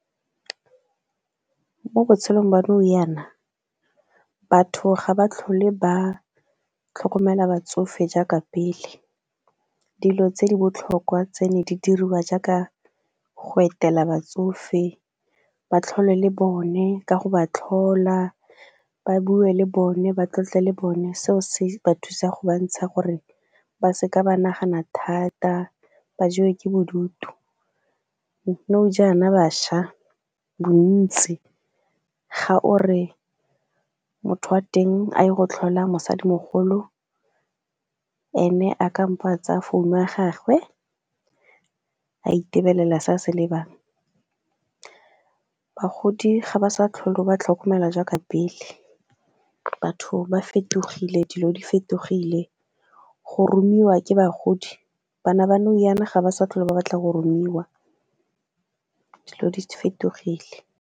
Mo botshelong ba nou jana batho ga ba tlhole ba tlhokomela batsofe jaaka pele dilo tse di botlhokwa tseno di diriwa jaaka go etela batsofe, ba tlhole le bone, ka go ba tlhola ba bue le bone, ba tlotle le bone seo se ba thusa go bontsha gore ba seka ba nagana thata ba jewa ke bodutu. Nou jana bašwa bontsi ga o re motho a teng a ye go tlhola mosadimogolo ene a kampo a tsaya founu ya gagwe a itebelela se a se lebang bagodi ga ba sa tlhole ba tlhokomela jaaka pele batho ba fetogile dilo di fetogile. Go romelwa ke bagodi, bana ba nou jana ga ba sa tlhole ba batlang go boromiwa dilo di fetogile.